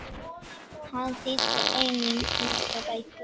Hann þýddi einnig nokkrar bækur.